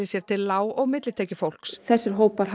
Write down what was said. sér til lág og millitekjufólks þessir hópar